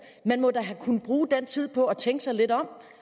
man må da have kunnet bruge den tid på at tænke sig lidt om